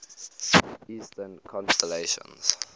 eastern constellations